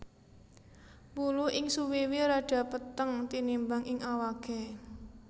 Wulu ing suwiwi rada peteng tinimbang ing awaké